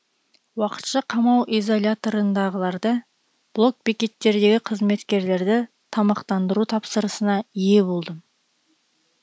уақытша қамау изоляторындағыларды блок бекеттердегі қызметкерлерді тамақтандыру тапсырысына ие болдым